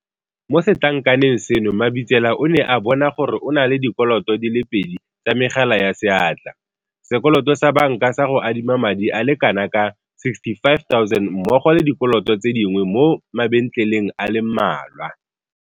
Mo setlankaneng seno Mabitsela o ne a bona gore o na le dikoloto di le pedi tsa megala ya seatla, sekoloto sa banka sa go adima madi a le kanaka 65 000 mmogo le dikoloto tse dingwe mo mabentleleng a le mmalwa.